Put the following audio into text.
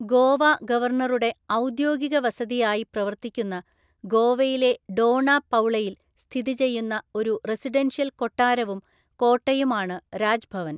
ഗോവ ഗവർണറുടെ ഔദ്യോഗിക വസതിയായി പ്രവർത്തിക്കുന്ന ഗോവയിലെ ഡോണപൗളയിൽ സ്ഥിതിചെയ്യുന്ന ഒരു റെസിഡൻഷ്യൽ കൊട്ടാരവും കോട്ടയുമാണ് രാജ്ഭവൻ.